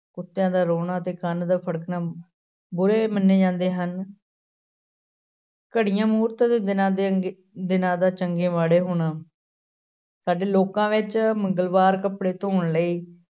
ਕੁਤਿਆਂ ਦਾ ਰੋਣਾ ਅਤੇ ਕੰਨ ਦਾ ਫਟਕਣਾ ਬੁਰੇ ਮੰਨੇ ਜਾਂਦੇ ਹਨ ਘੜੀਆਂ ਮੂਹਰਤਾਂ ਤੋਂ ਬਿਨਾਂ ਦਿਨਾਂ ਦਾ ਚੰਗੇ ਮਾੜੇ ਹੋਣਾ ਸਾਡੇ ਲੋਕਾਂ ਵਿੱਚ ਮੰਗਲਵਾਰ ਕੱਪੜੇ ਧੋਣ ਲਈ